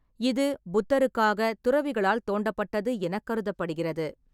இது புத்தருக்காகத் துறவிகளால் தோண்டப்பட்டது எனக் கருதப்படுகிறது.